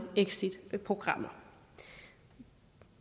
exitprogrammer